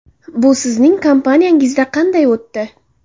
Bu sizning kompaniyangizda qanday o‘tdi?